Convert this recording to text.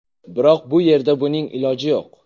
Biroq bu yerda buning iloji yo‘q.